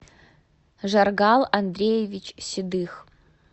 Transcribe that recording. жаргал андреевич седых